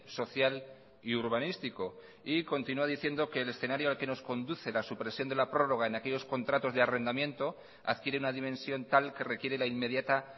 social y urbanístico y continua diciendo que el escenario al que nos conduce la supresión de la prórroga en aquellos contratos de arrendamiento adquiere una dimensión tal que requiere la inmediata